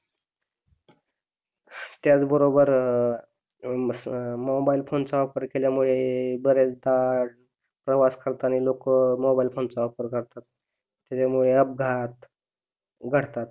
त्याच बरोबर अं मोबाइल फोन चा वापर केल्यामुळे बऱ्याचदा प्रवास करताना लोक मोबाइल फोन चा वापर करतात त्यामुळे अपघात घडतात.